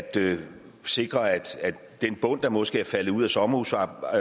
sikre at den bund der måske er faldet ud af sommerhusmarkedet